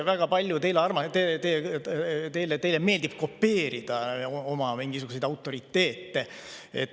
Teile meeldib üldse kopeerida oma mingisuguseid autoriteete.